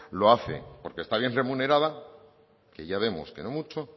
lo hace porque está bien remunerada que ya vemos que no mucho